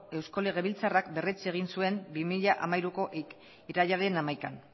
eusko legebiltzarrak berretsi egin zuen bi mila hamairuko irailaren hamaikan